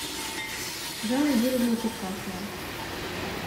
жанна юрьевна черкасова